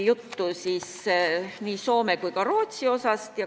Juttu oli ka Soomest ja Rootsist.